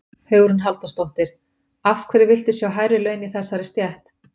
Hugrún Halldórsdóttir: Af hverju viltu sjá hærri laun í þessari stétt?